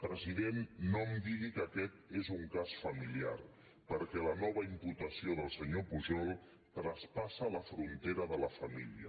president no em digui que aquest és un cas familiar perquè la nova imputació del senyor pujol traspassa la frontera de la família